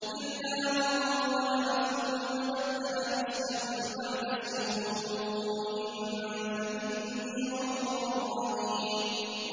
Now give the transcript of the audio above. إِلَّا مَن ظَلَمَ ثُمَّ بَدَّلَ حُسْنًا بَعْدَ سُوءٍ فَإِنِّي غَفُورٌ رَّحِيمٌ